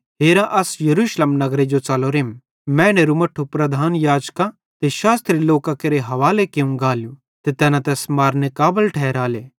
हेरा अस यरूशलेम नगरे जो च़लोरेम मैनेरू मट्ठू प्रधान याजकां ते शास्त्री लोकां केरे हवाले कियूं गालू ते तैना तैस मारनेरे काबल ठैरेले